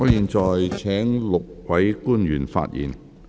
我會請5位官員發言。